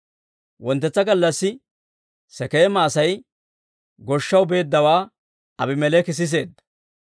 Wonttetsa gallassi Sekeema Asay goshshaw beeddawaa Aabimeleeki siseedda;